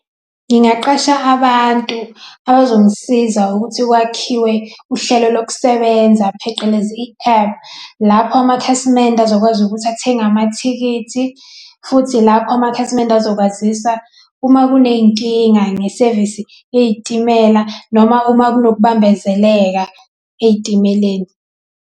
Ngingaqasha abantu abazongisiza ukuthi kwakhiwe uhlelo lokusebenza phecelezi i-app. Lapho amakhasimende azokwazi ukuthi athenge amathikithi, futhi lapho amakhasimende ezokwazisa uma kuney'nkinga ngesevisi yey'timela noma uma kunokubambezeleka ey'timeleni.